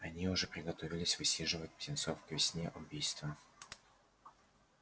они уже приготовились высиживать птенцов к весне убийство